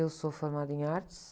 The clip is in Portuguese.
Eu sou formada em artes.